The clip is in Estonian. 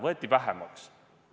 – võeti vähemaks.